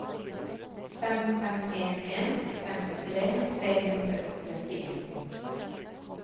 fem fem en en femtitre tre hundre og trettien